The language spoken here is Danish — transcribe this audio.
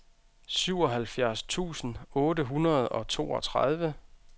syvoghalvfjerds tusind otte hundrede og toogtredive